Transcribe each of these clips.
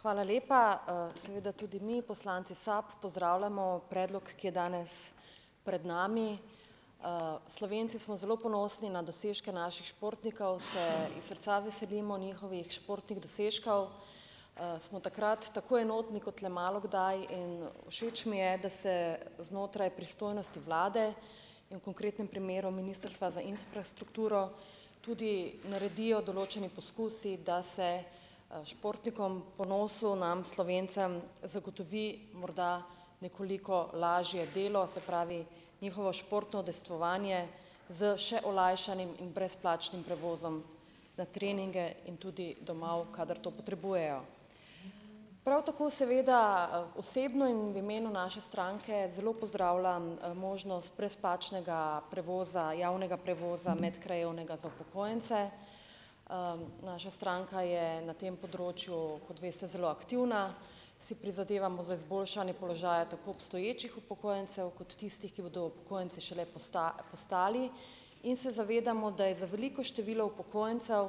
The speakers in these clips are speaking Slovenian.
Hvala lepa, seveda tudi mi poslanci SAB pozdravljamo predlog, ki je danes pred nami, Slovenci smo zelo ponosni na dosežke naših športnikov, se iz srca veselimo njihovih športnih dosežkov, smo takrat tako enotni kot le malo kdaj in všeč mi je, da se znotraj pristojnosti vlade in v konkretnem primeru ministrstva za infrastrukturo tudi naredijo določeni poskusi, da se, športnikom, ponosu nam Slovencem, zagotovi morda nekoliko lažje delo, se pravi, njihovo športno udejstvovanje s še olajšanim in brezplačnim prevozom na treninge in tudi domov, kadar to potrebujejo, prav tako seveda osebno in v imenu naše stranke zelo pozdravljam, možnost brezplačnega prevoza javnega prevoza medkrajevnega za upokojence, naša stranka je na tem področju, kot veste, zelo aktivna, si prizadevamo za izboljšanje položaja tako obstoječih upokojencev kot tistih, ki bodo upokojenci šele postali, in se zavedamo, da je za veliko število upokojencev,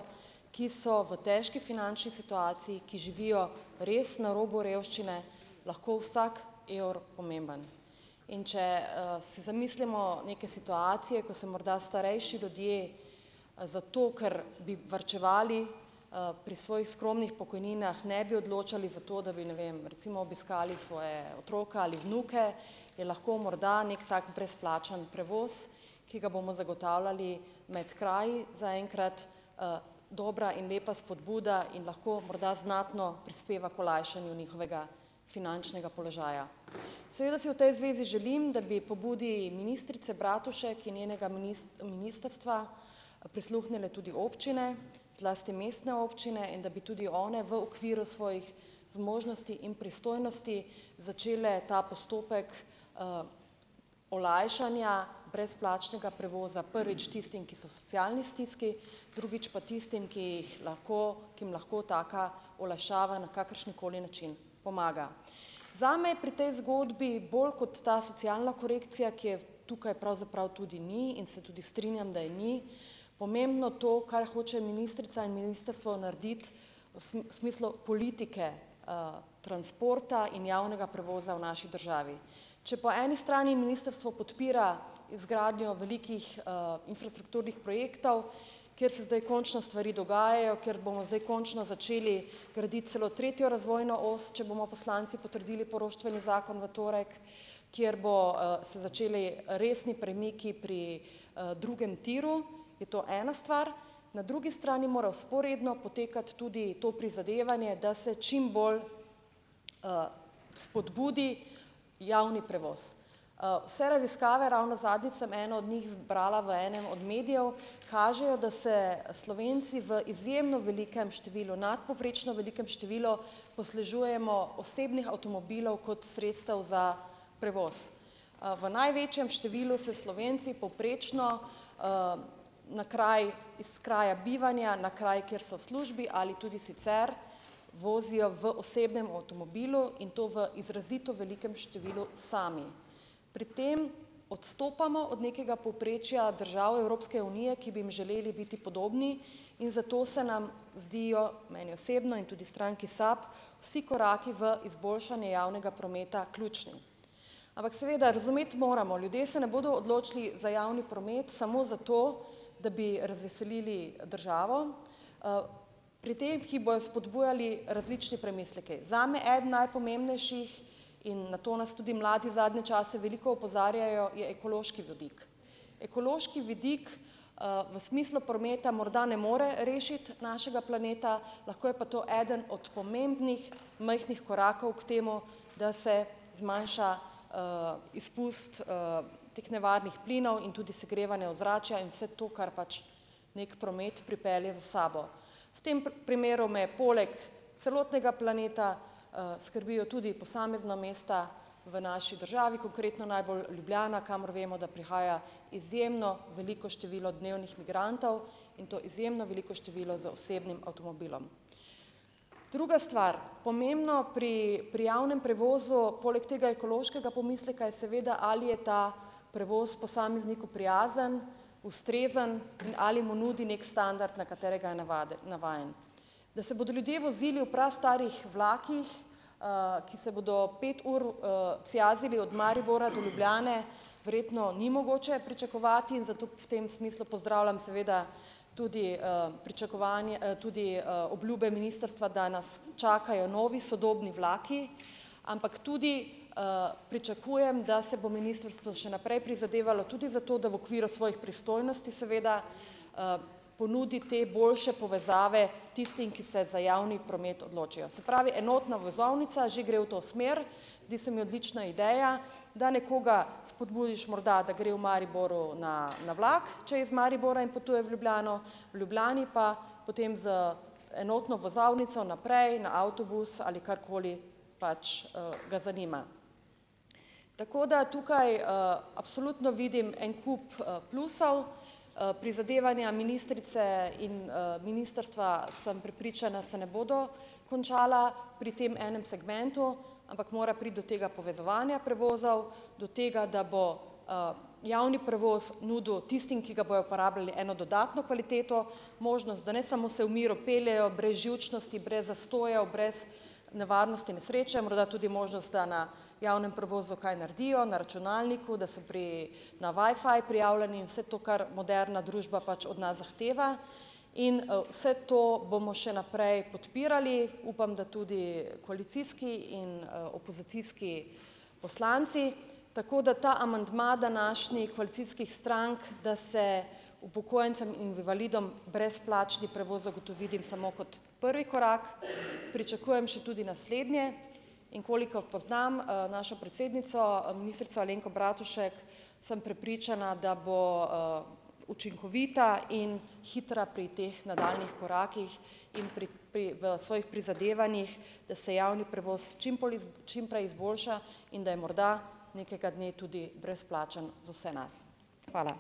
ki so v težki finančni situaciji, ki živijo res na robu revščine, lahko vsak evro pomemben, in če, se zamislimo neke situacije, ki se morda starejši ljudje, zato ker bi varčevali, pri svojih skromnih pokojninah ne bi odločali za to, da bi ne vem recimo obiskali svoje otroke ali vnuke, je lahko morda neki tak brezplačen prevoz, ki ga bomo zagotavljali med kraji zaenkrat, dobra in lepa spodbuda in lahko morda znatno prispeva k olajšanju njihovega finančnega položaja, seveda si v tej zvezi želim, da bi pobudi ministrice Bratušek in njenega ministrstva prisluhnile tudi občine, zlasti mestne občine, in da bi tudi one v okviru svojih zmožnosti in pristojnosti začele ta postopek, olajšanja brezplačnega prevoza prvič tistim, ki so v socialni stiski, drugič pa tistim, ki jih lahko, ki jim lahko taka olajšava na kakršenkoli način pomaga. Zame je pri tej zgodbi bolj kot ta socialna korekcija, ki je tukaj pravzaprav tudi ni, in se tudi strinjam, da je ni, pomembno to, kar hoče ministrica in ministrstvo narediti v smislu politike, transporta in javnega prevoza v naši državi, če po eni strani ministrstvo podpira izgradnjo velikih, infrastrukturnih projektov, kjer se zdaj končno stvari dogajajo, kjer bomo zdaj končno začeli graditi celo tretjo razvojno os, če bomo poslanci potrdili poroštveni zakon v torek, kjer bodo, se začeli resni premiki pri, drugem tiru, je to ena stvar, na drugi strani mora vzporedno potekati tudi to prizadevanje, da se čim bolj, spodbudi javni prevoz, vse raziskave, ravno zadnjič sem eno od njih zbrala v enem od medijev, kažejo, da se Slovenci v izjemno velikem številu, nadpovprečno velikem številu, poslužujemo osebnih avtomobilov kot sredstev za prevoz, v največjem številu se Slovenci povprečno, na kraj, iz kraja bivanja na kraj, kjer so službi ali tudi sicer, vozijo v osebnem avtomobilu in to v izrazito velikem številu sami, pri tem odstopamo od nekega povprečja držav Evropske unije, ki bi jim želeli biti podobni, in zato se nam zdijo meni osebno in tudi stranki SAB vsi koraki v izboljšanje javnega prometa ključni, ampak seveda razumeti moramo, ljudje se ne bodo odločili za javni promet samo zato, da bi razveselili državo, pri teh, ki bojo spodbujali, različni premisleki, zame eden najpomembnejših, in na to nas tudi mladi zadnje čase veliko opozarjajo, je ekološki vidik, ekološki vidik, v smislu prometa morda ne more rešiti našega planeta, lahko je pa to eden od pomembnih majhnih korakov k temu, da se zmanjša, izpust, teh nevarnih plinov in tudi segrevanje ozračja in vse to, kar pač neki promet pripelje za sabo, v tem primeru me je poleg celotnega planeta, skrbijo tudi posamezna mesta, v naši državi konkretno najbolj Ljubljana, kamor vemo, da prihaja izjemno veliko število dnevnih migrantov in to izjemno veliko število z osebnim avtomobilom. Druga stvar, pomembno pri pri javnem prevozu poleg tega ekološkega pomisleka je, seveda ali je ta prevoz posamezniku prijazen ustrezen in ali mu nudi neki standard, na katerega je navajen, da se bodo ljudje vozili v prastarih vlakih, ki se bodo pet ur, cijazili od Maribora do Ljubljane, verjetno ni mogoče pričakovati in zato v tem smislu pozdravljam seveda tudi pričakovanje, tudi, obljube ministrstva, da nas čakajo novi sodobni vlaki, ampak tudi, pričakujem da se bo ministrstvo še naprej prizadevalo tudi za to, da v okviru svojih pristojnosti seveda, ponudi te boljše povezave tistim, ki se za javni promet odločijo, se pravi, enotna vozovnica že gre v to smer, zdi se mi odlična ideja, da nekoga spodbudiš morda, da gre v Mariboru na, na vlak, če je iz Maribora in potuje v Ljubljano, v Ljubljani pa potem z enotno vozovnico naprej na avtobus, ali karkoli pač, ga zanima, tako da tukaj, absolutno vidim en kup plusov, prizadevanja ministrice in, ministrstva sem prepričana, se ne bodo končala pri tem enem segmentu, ampak mora priti do tega povezovanja prevozov, do tega, da bo, javni prevoz nudil tistim, ki ga bojo pa rabili, eno dodatno kvaliteto, možnost, da ne samo se v miru peljejo brez živčnosti, brez zastojev, brez nevarnosti nesreče, morda tudi možnost, da na javnem prevozu kaj naredijo na računalniku, da se pri na wifi prijavljeni in vse to, kar moderna družba pač od nas zahteva, in, vse to bomo še naprej podpirali, upam, da tudi koalicijski in, opozicijski poslanci, tako da ta amandma današnjih koalicijskih strank, da se upokojencem in invalidom brezplačni prevoz zagotovi samo kot prvi korak, pričakujem še tudi naslednje, in koliko poznam, našo predsednico ministrico Alenko Bratušek, sem prepričana, da bo, učinkovita in hitra pri teh nadaljnjih korakih in pri pri v svojih prizadevanjih, da se javni prevoz čimprej izboljša in da je morda nekega dne tudi brezplačen za vse nas, hvala.